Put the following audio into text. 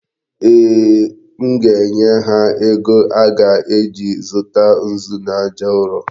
Ee, m ga-enye ha ego a ga-eji zụta nzu na aja ụrọ.